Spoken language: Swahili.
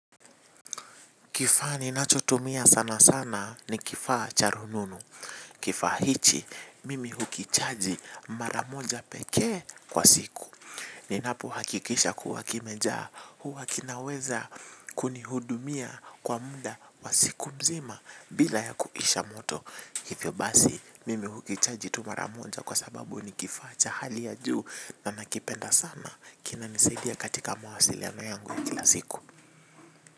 Kifaa ninachotumia sana sana ni kifaa cha rununu. Kifaa hichi, mimi hukichaji mara moja pekee kwa siku. Ninapo hakikisha kuwa kimejaa huwa kinaweza kuni hudumia kwa mda wa siku mzima bila ya kuisha moto. Hivyo basi, mimi hukichaji tu mara moja kwa sababu ni kifaa cha hali ya juu na nakipenda sana kina nisaidia katika mawasiliano yangu ya kila siku.